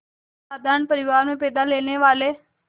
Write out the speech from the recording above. साधारण परिवार में पैदा लेने वाले